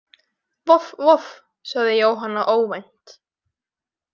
Voff voff, sagði Jóhanna óvænt.